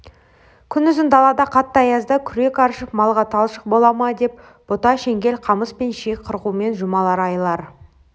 күнұзын далада қатты аязда күрек аршып малға талшық бола ма деп бұта-шеңгел қамыс пен ши қырқумен жұмалар айлар